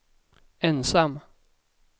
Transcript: ensam